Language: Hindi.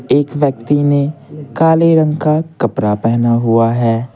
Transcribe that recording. एक व्यक्ति ने काले रंग का कपड़ा पहना हुआ है।